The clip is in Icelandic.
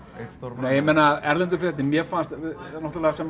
nei ég meina erlenda fréttin mér fannst náttúrulega sem